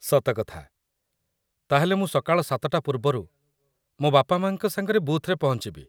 ସତ କଥା । ତା'ହେଲେ ମୁଁ ସକାଳ ୭ଟା ପୂର୍ବରୁ ମୋ ବାପାମାଆଙ୍କ ସାଙ୍ଗରେ ବୁଥ୍‌ରେ ପହଞ୍ଚିବି ।